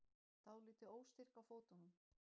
Dálítið óstyrk á fótunum.